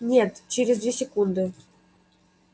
нет через две секунды